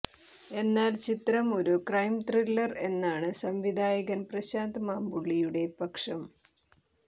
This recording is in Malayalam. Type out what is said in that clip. എന്നാൽ ചിത്രം ഒരു ക്രൈം ത്രില്ലർ എന്നാണ് സംവിധായകൻ പ്രശാന്ത് മാമ്പുള്ളിയുടെ പക്ഷം